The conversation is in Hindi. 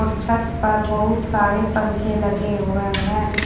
छत पर बहुत सारे पंखे लगे हुए हैं।